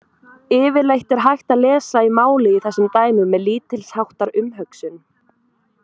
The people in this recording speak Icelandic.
Yfirleitt er hægt að lesa í málið í þessum dæmum með lítils háttar umhugsun.